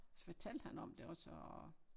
Så fortalte han om det også og